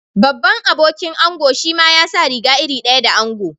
Babban abokin ango shima ya sa riga iri daya da ango.